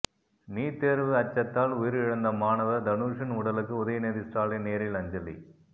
NEET தேர்வு அச்சத்தால் உயிரிழந்த மாணவர் தனுஷின் உடலுக்கு உதயநிதி ஸ்டாலின் நேரில் அஞ்சலி